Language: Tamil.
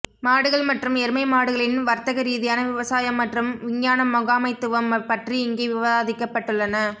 மாடுகள் மற்றும் எருமை மாடுகளின் வர்த்தகரீதியான விவசாயம் மற்றும் விஞ்ஞான முகாமைத்துவம் பற்றி இங்கே விவாதிக்கப்பட்டுள்ளன